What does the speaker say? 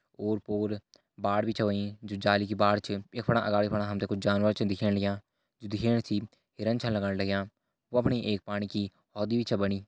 ओर पोर बाढ़ भी छ होईं जु जाली की बाढ़ छा यख फणा अगाड़ी फणा हम ते कुछ जानवर भी छन दिखेण लग्यां जु दिखेण से हिरन छन लगण लग्यां वफणी एक पाणी की होदी भी छ बणी।